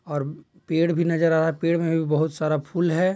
--और पेड़ भी नजर आ रहा है पेड़ मे भी बहुत सारा फूल है।